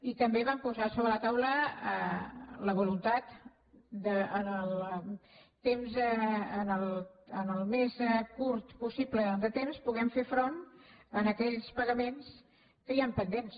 i també vam posar sobre la taula la voluntat que en el temps més curt possible puguem fer front a aquells pagaments que hi han pendents